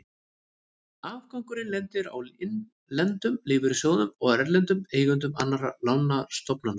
Afgangurinn lendir á innlendum lífeyrissjóðum og erlendum eigendum annarra lánastofnana.